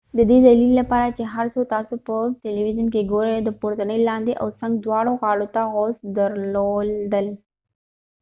د دې دلیل لپاره چې هر څه تاسو په تيليويزون کې ګورئ د پورتنۍ لاندې او څنګ دواړو غاړو ته غوڅ درلودل